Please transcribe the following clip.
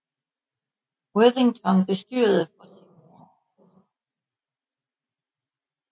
Worthington bestyrede for sin sin mor